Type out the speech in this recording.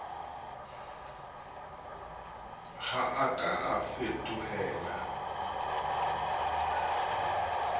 ha a ka a fetohela